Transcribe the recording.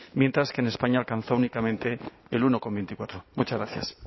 mientras que en españa alcanzó únicamente el uno coma veinticuatro muchas gracias